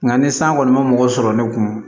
Nka ni san kɔni ma mɔgɔ sɔrɔ ne kun